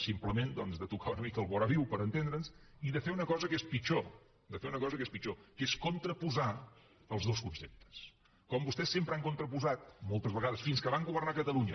simplement doncs tocar una mica el voraviu per entendre’ns i de fer una cosa que és pitjor de fer una cosa que és pitjor que és contraposar els dos conceptes com vostès sempre han contraposat moltes vegades fins que van governar catalunya